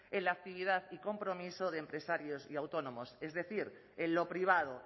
en la actividad y compromiso de empresarios y autónomos es decir en lo privado